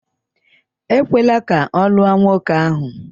Ekwela ka ọ lụọ nwoke ahụ.